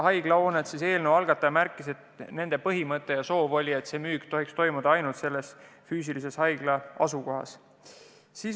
Eelnõu algataja märkis, et nende arusaama kohaselt tohiks see müük toimuda haiglas.